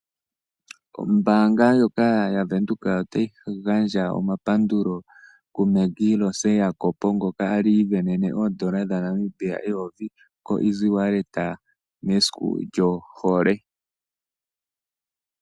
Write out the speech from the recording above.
Ombaanga ndjoka ya Bank Windhoek otayi gandja omapandulo ku Maggie Rose Jacob, ngoka a li a isindanene oondola dha Namibia eyovi, ko easy wallet mesiku lyohole.